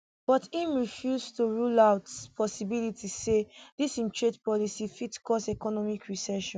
but im refuse to rule out possibility say dis im trade policy fit to cause economic recession